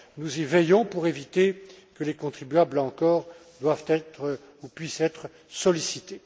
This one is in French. Nous y veillons pour éviter que les contribuables encore doivent être ou puissent être sollicités.